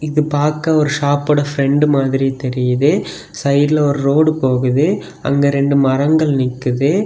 இது பாக்க ஒரு ஷாப்போட பிரண்ட் மாதிரி தெரியுது சைடுல ஒரு ரோடு போகுது அங்க ரெண்டு மரங்கள் நிக்குது.